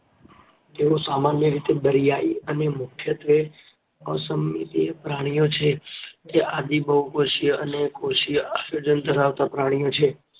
તેઓ સામાન્ય રીતે દરિયાઈ અને મુખ્યત્વે અસમમિતિય પ્રાણીઓ છે. તે આદિબહુકોષીય અને કોષીય આયોજન ધરાવતા પ્રાણીઓ છે.